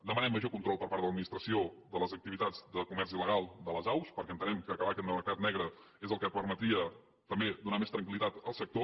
demanem major control per part de l’administració de les activitats de comerç il·legal de les aus perquè entenem que acabar amb aquest mercat negre és el que permetria també donar més tranquil·litat al sector